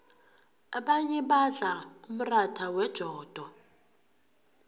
abanye badla umratha wejodo